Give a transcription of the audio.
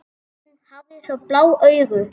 Hún hafði svo blá augu.